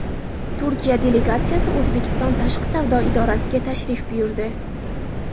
Turkiya delegatsiyasi O‘zbekiston tashqi savdo idorasiga tashrif buyurdi.